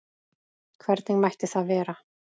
Hvernig mætti það vera?